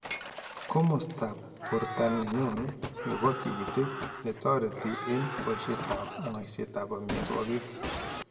Komastab borto nenyun nebo tikitiik ne toretii en boisyeetab ng'ayseetab amitwokik ,